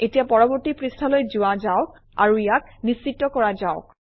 এতিয়া পৰৱৰ্তী পৃষ্ঠালৈ যোৱা যাওক আৰু ইয়াক নিশ্চিত কৰা যাওক